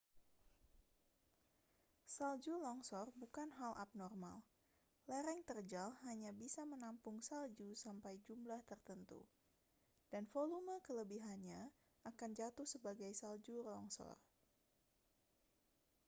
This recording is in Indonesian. salju longsor bukan hal abnormal lereng terjal hanya bisa menampung salju sampai jumlah tertentu dan volume kelebihannya akan jatuh sebagai salju longsor